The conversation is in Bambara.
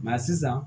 sisan